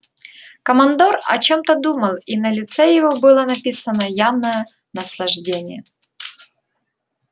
командор о чем-то думал и на лице его было написано явное наслаждение